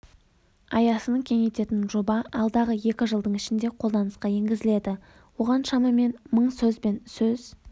аясын кеңейтетін жоба алдағы екі жылдың ішінде қолданысқа енгізіледі оған шамамен мың сөз бен сөз